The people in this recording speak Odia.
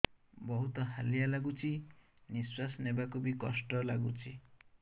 ବହୁତ୍ ହାଲିଆ ଲାଗୁଚି ନିଃଶ୍ବାସ ନେବାକୁ ଵି କଷ୍ଟ ଲାଗୁଚି